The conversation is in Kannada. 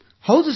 ಹೌದು ಸರ್